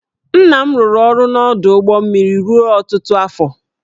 Nna m rụrụ ọrụ n’ọdụ ụgbọ mmiri ruo ọtụtụ afọ